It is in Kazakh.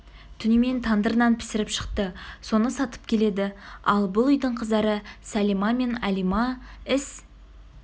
түнімен тандыр нан пісіріп шықты соны сатып келеді ал бұл үйдің қыздары сәлима мен әлима іс